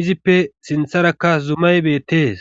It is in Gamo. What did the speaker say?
izippe sintharakka zumay bettees